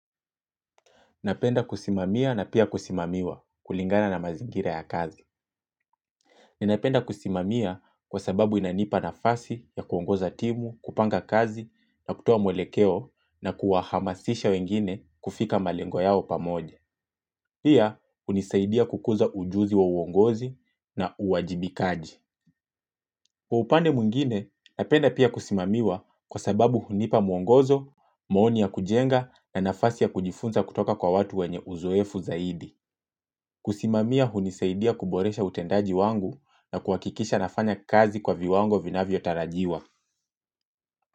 Napenda kusimamia na pia kusimamiwa kulingana na mazingira ya kazi. Ninapenda kusimamia kwa sababu inanipa nafasi ya kuongoza timu, kupanga kazi na kutowa mwelekeo na kuahamasisha wengine kufika malengo yao pamoja. Pia, unisaidia kukuza ujuzi wa uongozi na uwajibikaji. Kwa upande muingine napenda pia kusimamiwa kwa sababu hunipa muongozo, mooni ya kujenga na nafasi ya kujifunza kutoka kwa watu wenye uzoefu zaidi. Kusimamia hunisaidia kuboresha utendaji wangu na kuhakikisha nafanya kazi kwa viwango vinavyo tarajiwa.